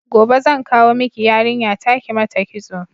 Gobe zan kawo miki yarinya ta kimata kitso